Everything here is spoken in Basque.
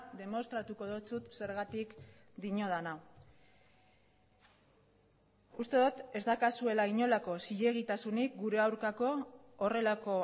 demostratuko dizut zergatik diodan hau uste dut ez daukazuela inolako zilegitasunik gure aurkako horrelako